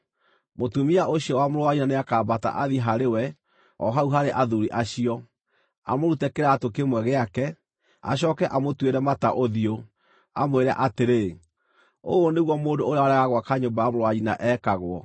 mũtumia ũcio wa mũrũ wa nyina nĩakambata athiĩ harĩ we o hau harĩ athuuri acio, amũrute kĩraatũ kĩmwe gĩake, acooke amũtuĩre mata ũthiũ, amwĩre atĩrĩ, “Ũũ nĩguo mũndũ ũrĩa warega gwaka nyũmba ya mũrũ wa nyina ekagwo.”